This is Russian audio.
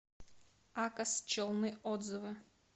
акос челны отзывы